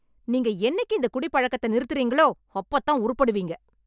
நீங்க என்னைக்கு இந்த குடிப்பழக்கத்தை நிறுத்துறீர்களோ அப்பதான் உருப்படுவீங்க